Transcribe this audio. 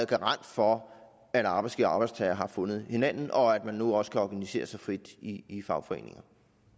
garant for at arbejdsgivere og arbejdstagere har fundet hinanden og at man nu også kan organisere sig frit i i fagforeningerne